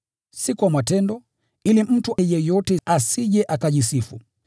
si kwa matendo, ili mtu yeyote asije akajisifu.